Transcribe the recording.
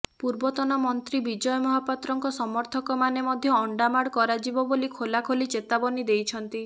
ପୂର୍ବତନ ମନ୍ତ୍ରୀ ବିଜୟ ମହାପାତ୍ରଙ୍କ ସମର୍ଥକମାନେ ମଧ୍ୟ ଅଣ୍ଡାମାଡ଼ କରାଯିବ ବୋଲି ଖୋଲାଖୋଲି ଚେତାବନୀ ଦେଇଛନ୍ତି